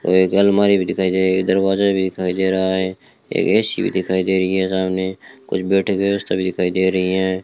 और एक अलमारी भी दिखाई दे रही दरवाजा भी दिखाई दे रहा है एक ए_सी भी दिखाई दे रही है सामने कुछ बैठने की व्यवस्था भी दिखाई दे रही हैं।